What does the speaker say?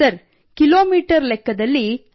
sir ಕಿ metre ಲೆಕ್ಕದಲ್ಲಿ